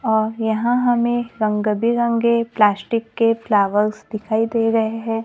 और यहां हमें रंग बिरंगे प्लास्टिक के फ्लावर्स दिखाई दे रहे हैं।